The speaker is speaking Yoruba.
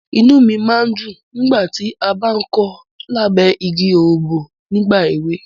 Inú mi máa ń dùn nígbàtí a bá ń kọ lábẹ́ igi òrombó nígbà ẹ̀we.